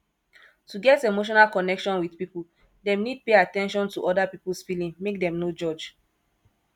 to get emotional connection with pipo dem need pay at ten tion to oda pipos feeeling make dem no judge